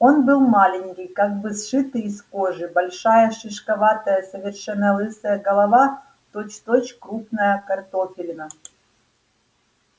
он был маленький как бы сшитый из кожи большая шишковатая совершенно лысая голова точь-в-точь крупная картофелина